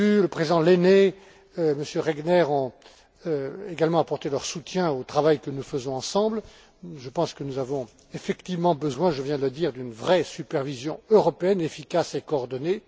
M. Bodu, le président Lehne et Mme Regner ont également apporté leur soutien au travail que nous faisons ensemble. Je pense que nous avons effectivement besoin, je viens de le dire, d'une vraie supervision européenne, efficace et coordonnée.